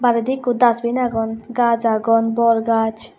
di ikko dusbin agon gaj agon bor gaj.